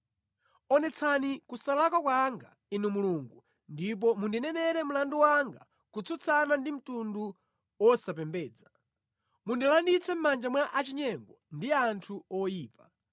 Onetsani kusalakwa kwanga Inu Mulungu; ndipo mundinenere mlandu wanga kutsutsana ndi mtundu wosapembedza; mundilanditse mʼmanja mwa achinyengo ndi anthu oyipa.